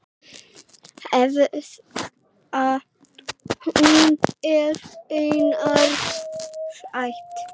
Hvað hún er annars sæt!